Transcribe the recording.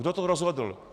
Kdo to rozhodl.